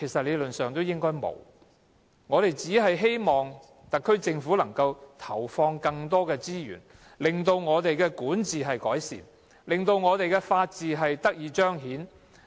理論上應該沒有，我們希望特區政府能夠投放更多資源，令我們的管治得以改善，法治得以彰顯。